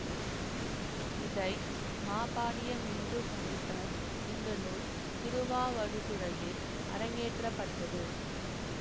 இதை மாபாடியம் என்றும் அழைப்பர் இந்த நூல் திருவாவடுதுறையில் அரங்கேற்றப்பட்டது